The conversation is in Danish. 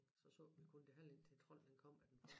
Så så vi kun det halve indtil trolden han kom